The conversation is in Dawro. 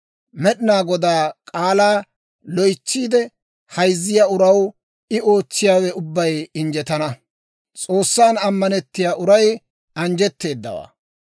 Med'inaa Godaa k'aalaa loytsiide hayzziyaa uraw I ootsiyaawe ubbay injjetana; S'oossan ammanettiyaa uray anjjetteedawaa.